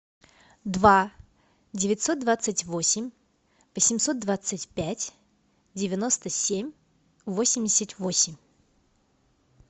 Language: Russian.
два девятьсот двадцать восемь восемьсот двадцать пять девяносто семь восемьдесят восемь